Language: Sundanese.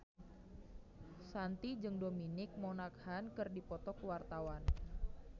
Shanti jeung Dominic Monaghan keur dipoto ku wartawan